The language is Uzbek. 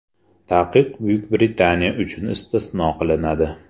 Taqiq Buyuk Britaniya uchun istisno qilinadi.